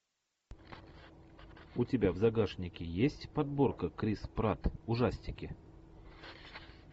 у тебя в загашнике есть подборка крис пратт ужастики